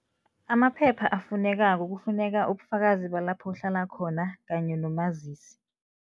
Amaphepha afunekako, kufuneka ubufakazi balapha uhlala khona kanye nomazisi.